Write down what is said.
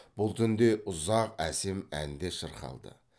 бұл түнде ұзақ әсем ән де шырқалды